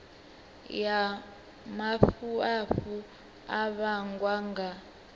ya mafhafhu a vhangwa nga